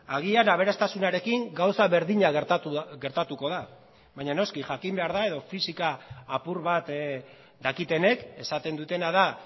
agian aberastasunarekin gauza berdina gertatuko da baina noski jakin behar da edo fisika apur bat dakitenek esaten dutena da